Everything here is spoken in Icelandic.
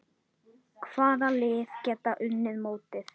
Hvaða lið geta unnið mótið?